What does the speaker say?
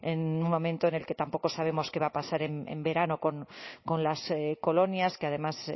en un momento en el que tampoco sabemos qué va a pasar en verano con las colonias que además